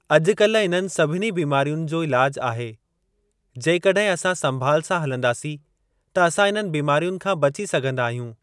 अॼु कल्ह इन्हनि सभनि बीमारियुनि जो ईलाज आहे जेकॾहि असां संभाल सां हलन्दासीं त असां इन्हनि बीमारियुनि खां बची सघंदा आहियूं।